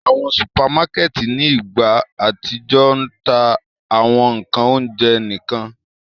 Awọn supamakẹti ni igba atijọ ń ta awọn ńkan ounjẹ nikan.